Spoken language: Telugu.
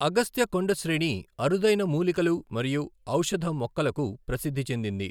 అగస్త్య కొండ శ్రేణి అరుదైన మూలికలు మరియు ఔషధ మొక్కలకు ప్రసిద్ధి చెందింది.